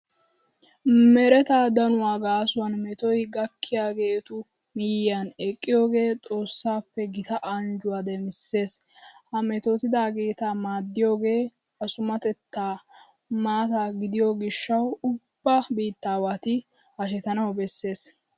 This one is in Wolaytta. Mereta danuwa gaasuwan metoy gakkiyigeetu miyyiyan eqqiyogee xoossaappe gita anjjuwa demissees. Ha metootidaageeta maaddiyogee asummatettaa maata gidiyo gishshawu ubba biittaawati hashetanawu bessees.